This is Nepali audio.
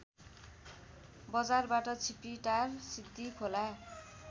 बजारबाट छिपिटार सिद्धिखोला